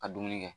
Ka dumuni kɛ